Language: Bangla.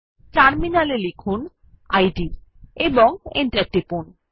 টার্মিনাল এ লিখুন ইদ এবং এন্টার টিপুন